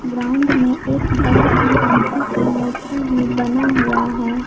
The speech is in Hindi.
ग्राउंड में एक बड़ा सा हाथी का मूर्ति भी बना हुआ है।